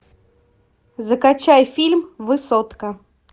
закачай фильм высотка